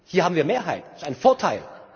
Hier haben wir Mehrheit, das ist ein Vorteil.